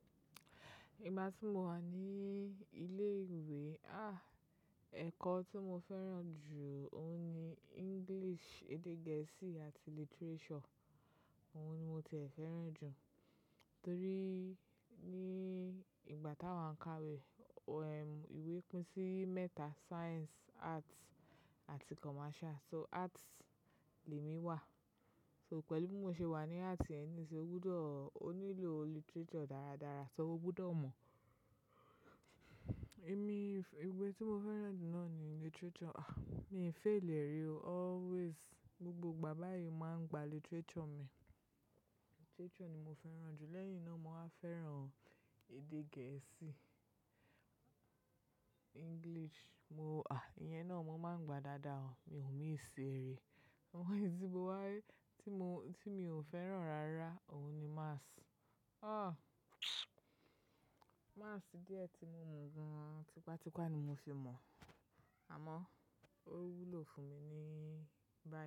Ìgbà tí mo wà ní ilé ìwé, ah, ẹ̀kọ́ tí mo fẹ́ràn jù óún ní English, èdè gẹ̀ẹ́sì àti literature. Òun ni mo tié fẹ́ràn jù torí ní ìgbà tá wàá ń ka wé, um, ìwé pín sí mẹ́ta: Science, Arts àti Commercial. So Arts limi wà. So pẹ̀lú bí mo ṣe wà ní Arts, ẹni tí ó gbọ́dọ̀, ó nílò literature dáradára, so mo gbọ́dọ̀ mọ̀. Ẹ̀mí, ìwé tí mo fẹ́ràn jù náà ni literature. Ah, mi ò fail è rí o always. Gbogbo ìgbà báyìí màá ń gba literature mi. Literature ni mo fẹ́ràn jù, lẹ́yìn náà mo á fẹ́ràn èdè gẹ̀ẹ́sì, English. Mo, ah, ìyẹn náà mo máa ń gba dáadáa o, mi ò ní ìṣere. Àmọ́, èyí tí mo wá, tí mo, tí mi ò fẹ́ràn rárá ó ní Maths. Ah. Maths díẹ̀ tí mo mọ̀ gan. Tipátipá ni mo fi ń mọ̀, àmọ́ ó wúlò fún mi ni báyìí.